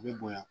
U bɛ bonya